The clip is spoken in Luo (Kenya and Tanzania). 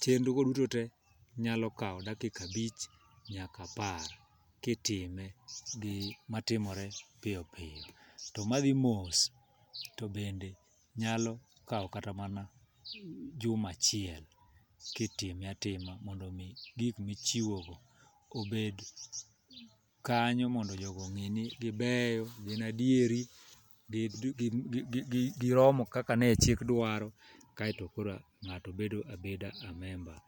Chenrogo duto te nyalo kawo dakika abich nyaka apar kitime gi matimore piyo piyo to madhi mos to bende nyalo kawo kata mana juma achiel kitime atima mondo omi gik michiwogo obed kanyo mondo jogo ong'e ni gibeyo, gin adieri, giromo kaka ne chik dwaro kaeto koro ng'ato bedo abeda a member.